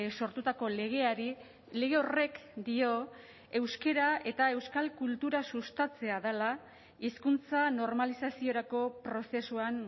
sortutako legeari lege horrek dio euskara eta euskal kultura sustatzea dela hizkuntza normalizaziorako prozesuan